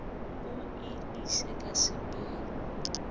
o e ise ka sebele